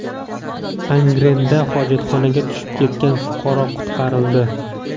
Angrenda hojatxonaga tushib ketgan fuqaro qutqarildi.